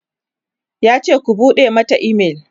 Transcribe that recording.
yace "ku buɗe Mata email!"